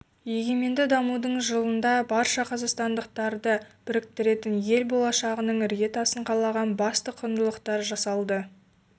егеменді дамудың жылында барша қазақстандықтарды біріктіретін ел болашағының іргетасын қалаған басты құндылықтар жасалды